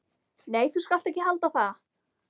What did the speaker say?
Nei, þú skalt ekki halda það!